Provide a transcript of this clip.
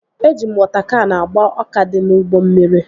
Eji m wọta kan agba ọka dị n'ugbo mmiri